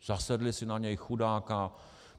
Zasedli si na něj, chudáka.